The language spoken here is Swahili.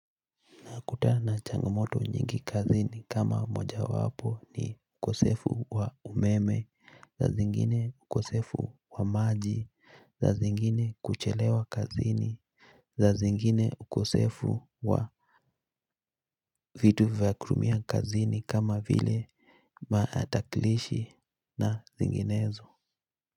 Kutana changamoto nyingi kazini kama moja wapo ni ukosefu wa umeme saa zingine ukosefu wa maji saa zingine kuchelewa kazini saa zingine ukosefu wa vitu vya kutumia kazini kama vile matakilishi na zinginezo.